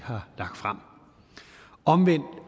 har lagt frem omvendt